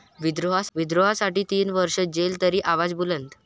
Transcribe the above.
विद्रोहासाठी तीन वर्ष जेल तरी आवाज बुलंद!